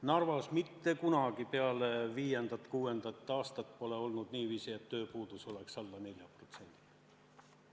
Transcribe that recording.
Narvas pole mitte kunagi peale 2005.–2006. aastat olnud niiviisi, et tööpuudus oleks olnud alla 4%.